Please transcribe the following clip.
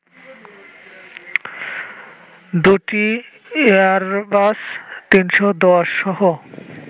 দু’টি এয়ারবাস-৩১০সহ